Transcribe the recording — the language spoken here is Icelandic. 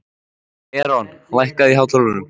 Eron, lækkaðu í hátalaranum.